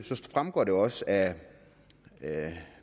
fremgår det også af